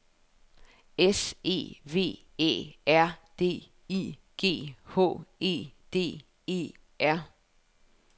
S E V Æ R D I G H E D E R